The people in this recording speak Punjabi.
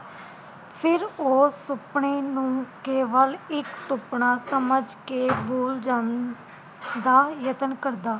ਫਿਰ ਉਹ ਸੁਪਨੇ ਨੂੰ ਕੇਵਲ ਇਕ ਸੁਪਨਾ ਸਮਝ ਕੇ ਬੂਲ ਜਾਣ ਦਾ ਯਤਨ ਕਰਦਾ